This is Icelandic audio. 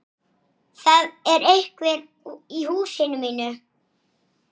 Hlý og góð.